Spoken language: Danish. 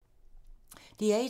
DR1